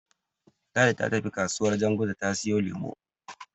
Ladi ta tafi kasuwar Janguza ta siyo lemo.